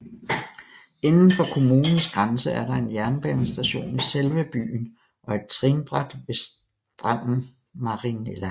Inden for kommunens grænse er der en jernbanestation i selve byen og et trinbræt ved standen Marinella